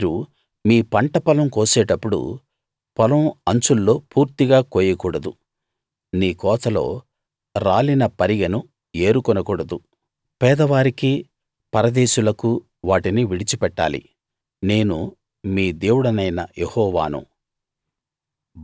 మీరు మీ పంటపొలం కోసేటప్పుడు పొలం అంచుల్లో పూర్తిగా కోయకూడదు నీ కోతలో రాలిన పరిగెను ఏరుకొనకూడదు పేదవారికి పరదేశులకు వాటిని విడిచిపెట్టాలి నేను మీ దేవుడనైన యెహోవాను